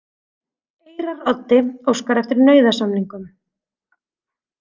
Eyraroddi óskar eftir nauðasamningum